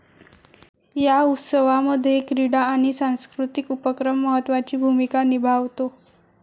या उत्सवामध्ये क्रीडा आणि सांस्कृतिक उपक्रम महत्वाची भूमीका निभावतो.